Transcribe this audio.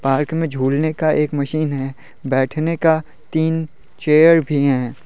Park में झूलने का एक मशीन है बैठने का तीन चेयर भी हैं।